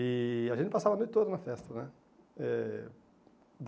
E a gente passava a noite toda na festa né. Eh